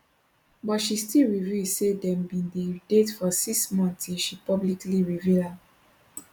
but she still reveal say dem bin dey date for six months till she publicly reveal am